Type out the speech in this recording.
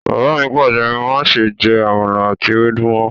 Bàbá mi Pàṣẹ! "máṣe jẹ Àmàlà ati ewédú mọ".